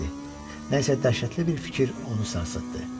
Nə isə dəhşətli bir fikir onu sarsıtdı.